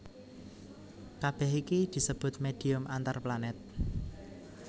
Kabèh iki disebut médhium antarplanèt